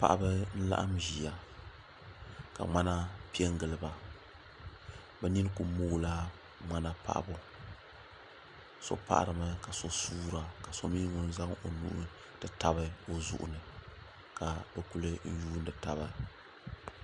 Paɣaba n laɣim ʒia ka ŋmana piɛngili ba bɛ nini kuli moogila ŋmana paɣabu so paɣarimi ka so suura ka so mee zaŋ o nuu ti tabi o zuɣu ni ka bɛ kuli yuuni taba.